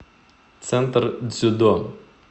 центр дзюдо